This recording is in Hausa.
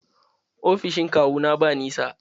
Ofishin kawu na ba nisa.